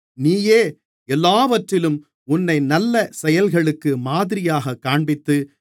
நீயே எல்லாவற்றிலும் உன்னை நல்ல செயல்களுக்கு மாதிரியாகக் காண்பித்து